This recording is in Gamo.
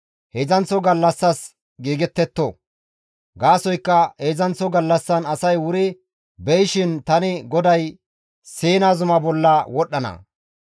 heedzdzanththo gallassas giigettetto. Gaasoykka heedzdzanththo gallassan asay wuri beyishin tani GODAY Siina zuma bolla wodhdhana.